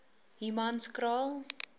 humanskraal